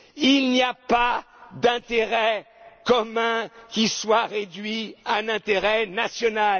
les voitures. Il n'y a pas d'intérêt commun qui soit réduit à un intérêt